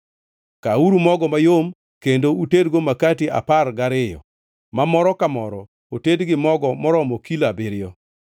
“Kawuru mogo mayom kendo utedgo makati apar gariyo, ma moro ka moro oted gi mogo moromo kilo abiriyo.